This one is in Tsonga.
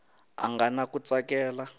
a nga na ku tsakela